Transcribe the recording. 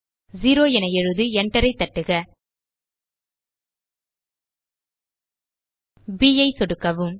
0 என எழுதி enter ஐ தட்டுக ப் ஐ சொடுக்கவும்